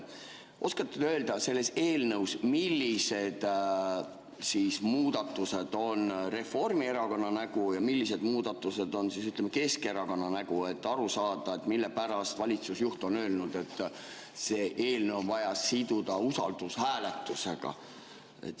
Oskate te öelda, millised muudatused selles eelnõus on Reformierakonna nägu ja millised muudatused on Keskerakonna nägu, et aru saada, mille pärast valitsusjuht on öelnud, et see eelnõu on vaja siduda usaldushääletusega?